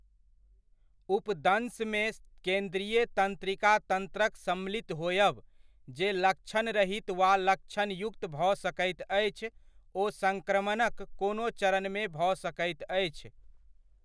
उपदंशमे केन्द्रीय तन्त्रिका तन्त्रक सम्मिलित होयब, जे लक्षणरहित वा लक्षणयुक्त भऽ सकैत अछि ओ सङ्क्रमणक कोनो चरणमे भऽ सकैत अछि।